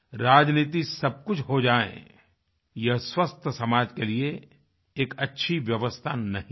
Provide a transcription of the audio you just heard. राजनीति सबकुछ हो जाए यह स्वस्थ समाज के लिए एक अच्छी व्यवस्था नहीं है